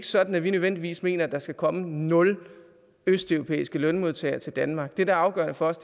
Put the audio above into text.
sådan at vi nødvendigvis mener at der skal komme nul østeuropæiske lønmodtagere til danmark det der er afgørende for os